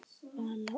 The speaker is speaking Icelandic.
Vala og